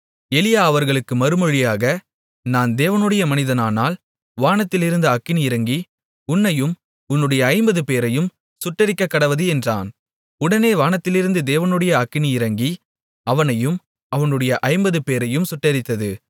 எலியா அவர்களுக்கு மறுமொழியாக நான் தேவனுடைய மனிதனானால் வானத்திலிருந்து அக்கினி இறங்கி உன்னையும் உன்னுடைய ஐம்பதுபேரையும் சுட்டெரிக்கக்கடவது என்றான் உடனே வானத்திலிருந்து தேவனுடைய அக்கினி இறங்கி அவனையும் அவனுடைய ஐம்பதுபேரையும் சுட்டெரித்தது